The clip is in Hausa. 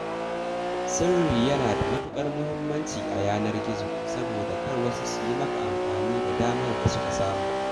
Sirri yana da matuƙar muhimmanci a yanar gizo saboda kar wasu su yi maka amfani da damar da suka samu.